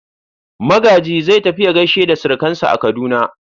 Magaji za tafi ya gaishe da surukansa a Kaduna.